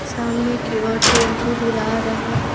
सामने की ओर टेंपो धुला रहे हैं।